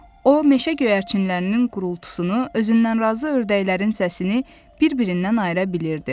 O meşə göyərçinlərinin qurultusunu, özündən razı ördəklərin səsini bir-birindən ayıra bilirdi.